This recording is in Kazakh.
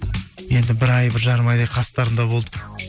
енді бір ай бір жарым айдай қастарында болдық